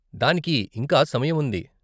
దానికి ఇంకా సమయం ఉంది.